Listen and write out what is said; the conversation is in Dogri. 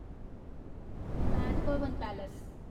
उमैद भवन पैलेस